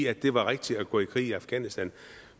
at det var rigtigt at gå i krig i afghanistan